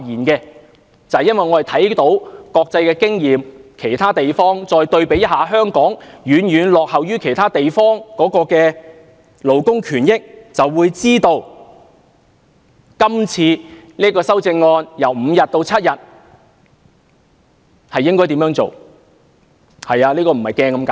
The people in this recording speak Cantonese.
因為，我們看到國際經驗，知道香港的勞工權益對比起其他地方遠遠落後，就會明白面對今次由5天增加至7天的修正案時應該怎辦。